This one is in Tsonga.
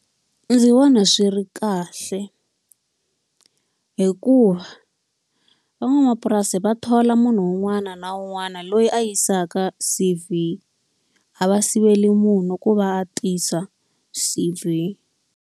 Ndzi vona swi ri kahle, hikuva van'wamapurasi va thola munhu un'wana na un'wana loyi a yisaka C_V. A va siveli munhu ku va a tisa C_V.